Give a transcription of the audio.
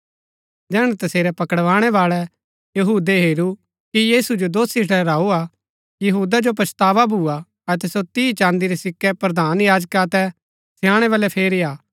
जैहणै तसेरै पकड़ाणै बाळै यहूदै हेरू कि यीशु जो दोषी ठहराऊ हा यहूदा जो पछतावा भूआ अतै सो तीह चाँदी रै सिक्कै प्रधान याजका अतै स्याणै बलै फेरी आ